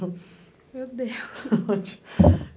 Meu Deus!